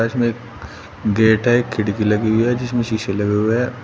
Gate है खिड़की लगी हुई है जिसमें शीशे लगे हुए हैं।